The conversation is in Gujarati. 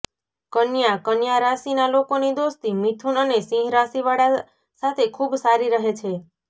કન્યાઃ કન્યા રાશિના લોકોની દોસ્તી મિથુન અને સિંહ રાશિવાળા સાથે ખૂબ સારી રહે છે